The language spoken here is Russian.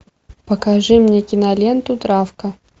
покажи мне киноленту травка